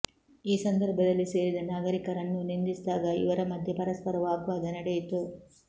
ಈ ಸಂದರ್ಭದಲ್ಲಿ ಸೇರಿದ ನಾಗರಿಕರನ್ನೂ ನಿಂದಿಸಿದಾಗ ಇವರ ಮಧ್ಯೆ ಪರಸ್ಪರ ವಾಗ್ವಾದ ನಡೆಯಿತು